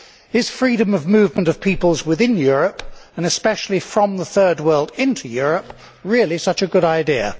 Is freedom of movements of peoples within Europe, and especially from the Third World into Europe, really such a good idea?